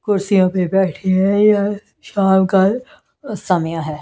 कुर्सियों पे बैठे हैं यह शाम का समय है।